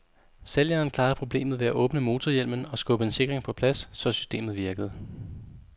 Sælgeren klarede problemet ved at åbne motorhjelmen og skubbe en sikring på plads, så systemet virkede.